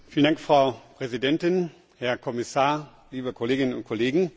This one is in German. Frau Präsidentin, Herr Kommissar, liebe Kolleginnen und Kollegen!